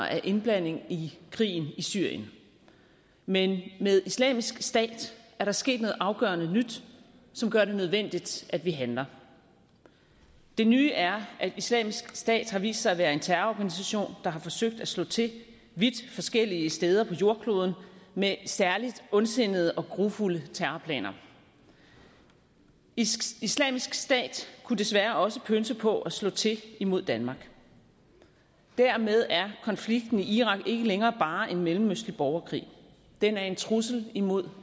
af indblanding i krigen i syrien men med islamisk stat er der sket noget afgørende nyt som gør det nødvendigt at vi handler det nye er at islamisk stat har vist sig at være en terrororganisation der har forsøgt at slå til vidt forskellige steder på jordkloden med særlig ondsindede og grufulde terrorplaner islamisk stat kunne desværre også pønse på at slå til mod danmark dermed er konflikten i irak ikke længere bare en mellemøstlig borgerkrig den er en trussel imod